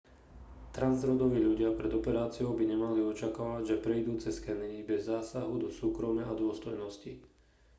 transrodoví ľudia pred operáciou by nemali očakávať že prejdú cez skenery bez zásahu do súkromia a dôstojnosti